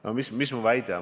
No mis mu väide on?